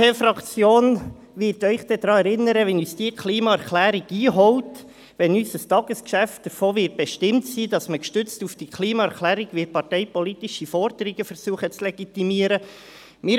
Die SVP-Fraktion wird Sie dann daran erinnern, wie uns diese Klimaerklärung einholt, wenn unser Tagesgeschäft davon bestimmt sein wird, dass man gestützt auf diese Klimaerklärung parteipolitische Forderungen zu legitimieren versucht.